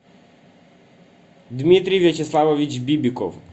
дмитрий вячеславович бибиков